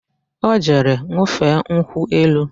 Ọ jere ṅụfee nkwụ elu